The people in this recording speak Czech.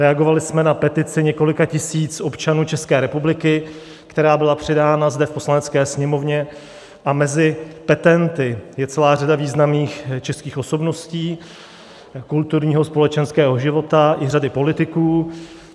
Reagovali jsme na petici několika tisíc občanů České republiky, která byla předána zde v Poslanecké sněmovně, a mezi petenty je celá řada významných českých osobností kulturního, společenského života i řada politiků.